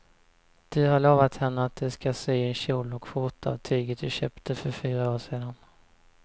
Du har lovat henne att du ska sy en kjol och skjorta av tyget du köpte för fyra år sedan.